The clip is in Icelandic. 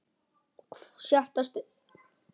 SJÖUNDA STUND